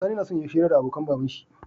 Sani nason yayi hira da abokan baban shi